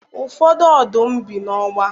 Ụfọdụ ọdụm bi n'ọgba.